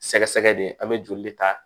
Sɛgɛsɛgɛ de an bɛ joli de ta